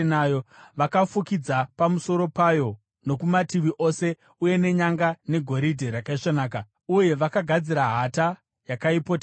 Vakafukidza pamusoro payo nokumativi ose uye nenyanga, negoridhe rakaisvonaka, uye vakagadzira hata yakaipoteredza.